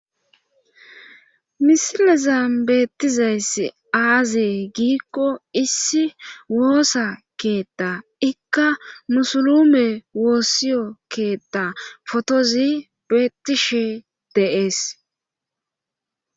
Misilezan beettizayssi aaze giikko issi woosakeetta ikkanu muluume woosaiyo wosa keetta potozi beettishe de7ees